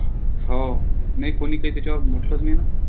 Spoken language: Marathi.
हो नाई कोणी काई त्याच्यावर म्हटलंचं नाही ना.